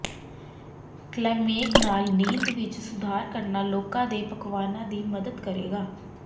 ਕਲੈਮੈਕ ਨਾਲ ਨੀਂਦ ਵਿੱਚ ਸੁਧਾਰ ਕਰਨਾ ਲੋਕਾਂ ਦੇ ਪਕਵਾਨਾਂ ਦੀ ਮਦਦ ਕਰੇਗਾ